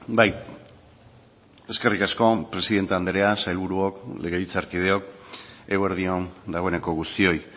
bai eskerrik asko presidente andrea sailburuok legebiltzarkideok eguerdi on dagoeneko guztioi